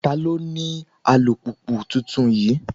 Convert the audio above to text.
Ta ló ní alùpùpù tuntun yìí?